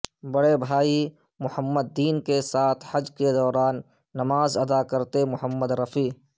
بڑے بھائی محمد دین کے ساتھ حج کے دوران نماز ادا کرتے محمد رفیع